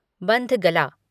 bandhgala